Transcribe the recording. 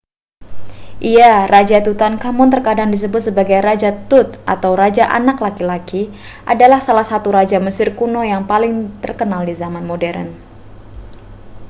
iya raja tutankhamun terkadang disebut sebagai raja tut atau raja anak laki-laki adalah salah satu raja mesir kuno yang paling terkenal di zaman modern